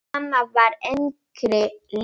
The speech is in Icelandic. Mamma var engri lík.